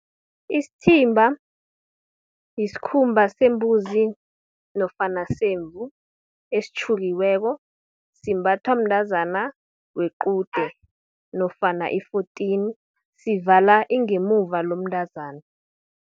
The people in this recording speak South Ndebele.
Isithimba, yisikhumba sembuzi nofana semvu, esitjhukiweko. Simbathwa mntazana wequde, nofana i-fourteen, sivala ingemuva lomntazana.